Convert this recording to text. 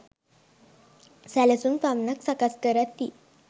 සැලසුම් පමණක් සකස් කරති